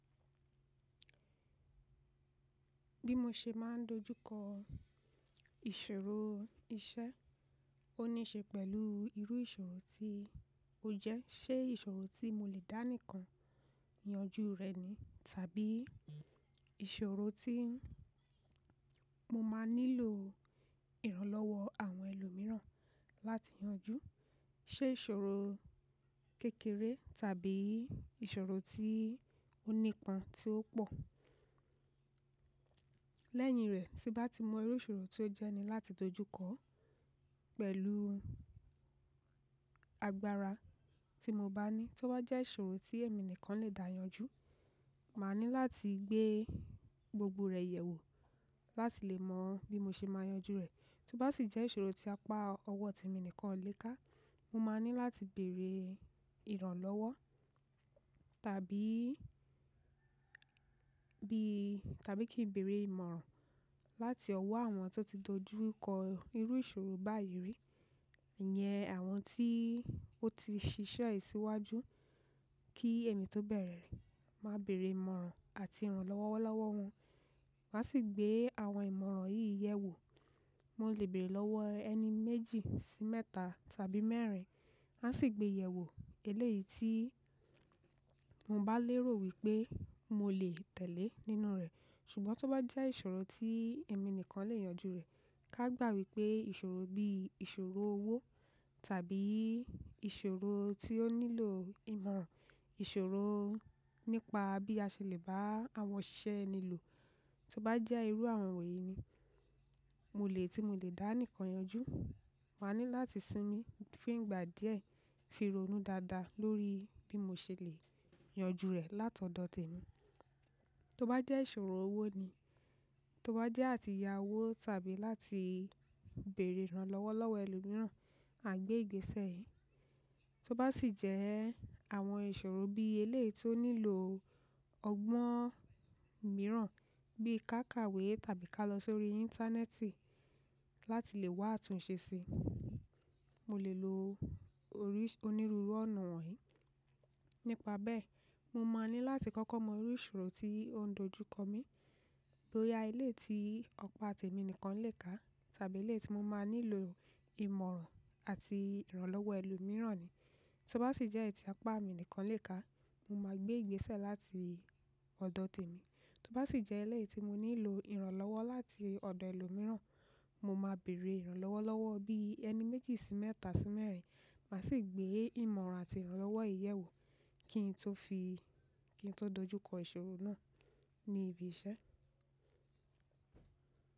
Bí mo ṣe máà ń dojú kọ ìṣòro iṣẹ́, ó ní í ṣe pẹ̀lú irú ìṣòro tí ó jẹ́. Ṣé ìṣòro tí mo lè dá nìkan yanjú rẹ̀ ni tàbí ìṣòro tí mo máà nílò ìrànlọ́wọ́ àwọn ẹlòmíràn láti yanjú. Ṣé ìṣòro kékeré tàbí ìṣòro tí ó nípọn tí ó pọ̀. Lẹ́yìn rẹ̀, tí n bá ti mọ irú ìṣòro tí ó jẹ́ ni láti dojú kọọ́, pẹ̀lú agbára tí mo bá ní, tó bá jẹ́ ìṣòro tí èmi nìkan lè dáyanjú, màá ní láti gbé gbogbo rẹ̀ yẹ̀ wò láti lè mọ bí mo ṣe máa yanjú rẹ̀. Tó bá sì jẹ́ ìṣòro tí apá ọwọ́ tèmi nìkan ò le ká, mo máa ní láti bèèrè ìrànlọ́wọ́ tàbí kí n bèèrè ìmọ̀ràn láti ọwọ́ àwọn tó ti dojú kọ irú ìṣòro báyìí rí. Ìyẹn àwọn tí ó ti ṣiṣẹ́ yìí síwájú, kí èmi tó bẹ̀rẹ ma bèèrè ìmọ̀ràn àti ìrànlọ́wọ́ lọ́wọ́ wọn. Màá sì gbé àwọn ìmọ̀ràn yìí yẹ̀ wò. Mo lè bèèrè lọ́wọ́ ẹni méjì sí mẹ́ta tàbí mẹ́rin. Màá sì gbée yẹ̀wò eléyìí tí mo bá lérò wípé mo lè tẹ̀lé nínú rẹ̀. Ṣùgbọ́n tó bá jẹ́ ìṣòro tí èmi nìkan lè yanjú rẹ̀, kágbà wípé ìṣòro bíi ìṣòro owó tàbí ìṣòro tí ó nílò ìmọ̀ràn ìṣòro nípa bí a ṣe lè bá àwọn òṣìṣẹ́ ẹni lò. Tó bá jẹ́ irú àwọn wọ̀nyí ni tí mo lè dá nìkan yanjú, màá ní láti sinmi fún ìgbà díẹ̀, fi ronú dáadáa lóríi bí mo ṣe lè yanjú rẹ̀ lát'ọ̀dọ̀ tèmi. Tó bá jẹ́ ìṣòro owó ni, tó bá jẹ́ àti ya'wó tàbí láti bèèrè ìrànlọ́wọ́ lọ́wọ́ ẹlòmíràn, màá gbé ìgbésẹ̀. Tó bá sì jẹ́ àwọn ìṣòro bíi eléyìí tí ó nílòo ọgbọ́n mìíràn bí i ká kàwé tàbí ká lọ sóríi Íńtánẹ́ẹ̀tì láti lè wá àtúnṣe sí i, mo lè lo onírúurú ọ̀nà wọ̀nyí. Nípa bẹ́ẹ̀, mo máa ní láti kọ́kọ́ mọ irú ìṣòro tí ó ń dojú kọ mí. Bó yá eléyìí tí apá t'èmi nìkan lè ká tàbí eléyìí tí mo máa nílò ìmọ̀ràn àti ìrànlọ́wọ́ ẹlòmíràn ni. Tó bá sì jẹ́ èyí tí apá mi nìkan lè ká, mo máa gbé ìgbésẹ̀ láti ọ̀dọ̀ tèmi. Tó bá sì jẹ́ eléyìí tí mo nílò ìrànlọ́wọ́ láti ọ̀dọ ẹlòmíràn, mo máa bèèrè ìrànlọ́wọ́ lọ́wọ́ bíi ẹni méjì sí mẹ́ta sí mẹ́rin. Màá sì gbé ìmọ̀ràn àti ìrànlọ́wọ́ yìí yẹ̀ wò kí n tó dojú kọ ìṣòro náà ní ibi iṣẹ́.